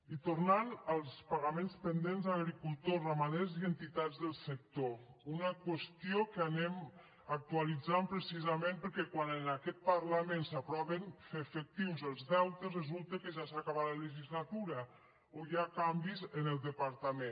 i tornant als pagaments pendents a agricultors ramaders i entitats del sector una qüestió que anem actualitzant precisament perquè quan en aquest parlament s’aproven fer efectius els deutes resulta que ja s’acaba la legislatura o hi ha canvis en el departament